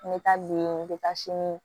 N bɛ taa le n bɛ taa sini